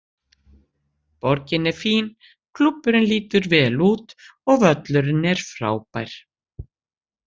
Borgin er fín, klúbburinn lítur vel út og völlurinn er frábær.